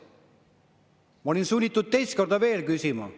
Ma olin sunnitud teist korda veel küsima.